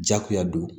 Jakuya don